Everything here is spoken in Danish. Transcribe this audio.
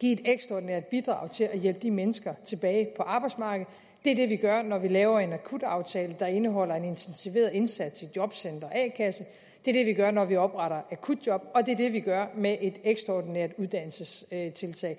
give et ekstraordinært bidrag til at hjælpe de mennesker tilbage på arbejdsmarkedet det er det vi gør når vi laver en akutaftale der indeholder en intensiveret indsats i jobcentre og a kasser det er det vi gør når vi opretter akutjob og det er det vi gør med et ekstraordinært uddannelsestiltag